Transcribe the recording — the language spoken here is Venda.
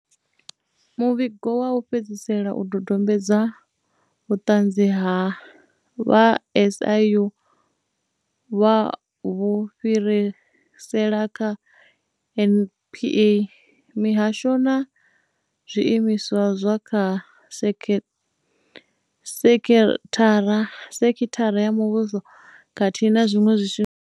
Muvhigo wa u fhedzisela u dodombedza vhuṱanzi he vha SIU vha vhu fhirisela kha NPA, mihasho na zwiimiswa zwa kha sekhithara ya muvhuso khathihi na zwiṅwe zwiimiswa.